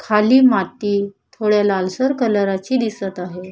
खाली माती थोड्या लालसर कलरा ची दिसत आहे.